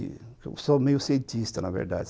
Eu sou meio cientista, na verdade.